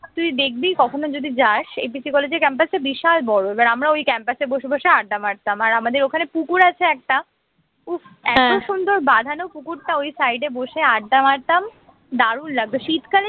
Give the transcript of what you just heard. তুই দেখবি কখনো যদি যাস এপিসি কলেজের campus টা বিশাল বড় এবার আমরা ওই campus এ বসে বসে আড্ডা মারতাম আর আমাদের ওখানে পুকুর আছে একটা উফ্ এত সুন্দর বাঁধানো পুকুরটা ওই side এ বসে আড্ডা মারতাম দারুন লাগত শীতকালে